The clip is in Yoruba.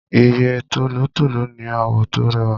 Ìyẹ́ tòlótòló ní àwọ̀ tó rẹwà.